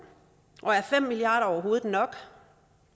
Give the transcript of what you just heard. og er fem milliard kroner overhovedet nok